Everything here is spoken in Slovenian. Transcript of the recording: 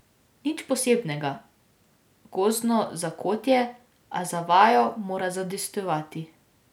Nič posebnega, gozdno zakotje, a za vajo mora zadostovati.